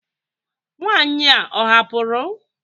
Nwanyị a ọ hapụrụ?